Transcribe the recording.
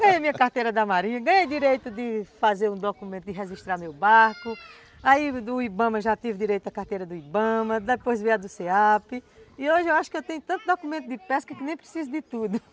Ganhei minha carteira da marinha, ganhei direito de fazer um documento de registrar meu barco, aí do Ibama já tive direito da carteira do Ibama, depois veio a do cê a pe e hoje eu acho que eu tenho tanto documento de pesca que nem preciso de tudo